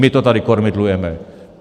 My to tady kormidlujeme.